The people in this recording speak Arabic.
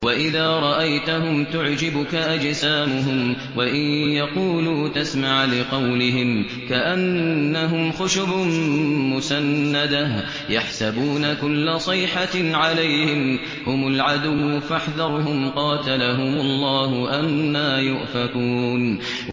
۞ وَإِذَا رَأَيْتَهُمْ تُعْجِبُكَ أَجْسَامُهُمْ ۖ وَإِن يَقُولُوا تَسْمَعْ لِقَوْلِهِمْ ۖ كَأَنَّهُمْ خُشُبٌ مُّسَنَّدَةٌ ۖ يَحْسَبُونَ كُلَّ صَيْحَةٍ عَلَيْهِمْ ۚ هُمُ الْعَدُوُّ فَاحْذَرْهُمْ ۚ قَاتَلَهُمُ اللَّهُ ۖ أَنَّىٰ يُؤْفَكُونَ